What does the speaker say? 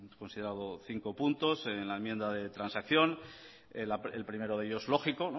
considerado cinco puntos en la enmienda de transacción el primero de ellos lógico